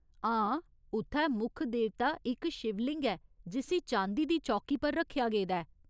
हां, उत्थै मुक्ख देवता इक शिवलिंग ऐ जिस्सी चांदी दी चौकी पर रक्खेआ गेदा ऐ।